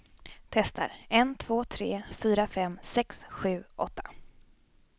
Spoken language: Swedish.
Testar en två tre fyra fem sex sju åtta.